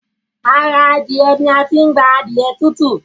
Ará Adiẹ ni a tí n gbà adiẹ tutu